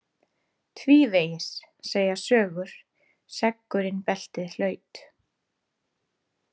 Tvívegis, segja sögur, seggurinn beltið hlaut.